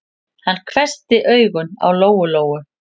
Hann hvessti augun á Lóu-Lóu.